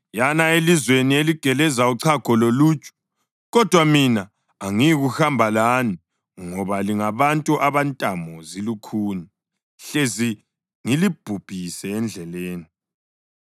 Yana elizweni eligeleza uchago loluju. Kodwa mina angiyikuhamba lani ngoba lingabantu abantamo zilukhuni, hlezi ngilibhubhise endleleni.”